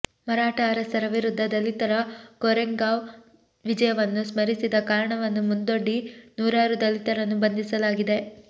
ಮರಾಠಾ ಅರಸರ ವಿರುದ್ಧ ದಲಿತರ ಕೋರೆಗಾಂವ್ ವಿಜಯವನ್ನು ಸ್ಮರಿಸಿದ ಕಾರಣವನ್ನು ಮುಂದೊಡ್ಡಿ ನೂರಾರು ದಲಿತರನ್ನು ಬಂಧಿಸಲಾಗಿದೆ